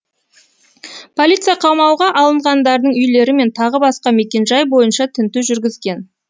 полиция қамауға алынғандардың үйлері мен тағы басқа мекенжай бойынша тінту жүргізген